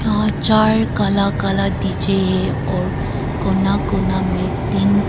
और चार काला काला डी_जे है और कोना कोना में तीन--